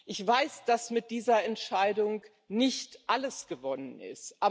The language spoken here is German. Ich weiß, dass mit dieser Entscheidung nicht alles gewonnen ist.